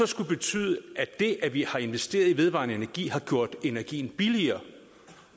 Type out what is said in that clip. skulle betyde at det at vi har investeret i vedvarende energi har gjort energien billigere